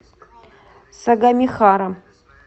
сагамихара